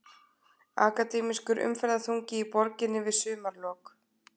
Akademískur umferðarþungi í borginni við sumarlok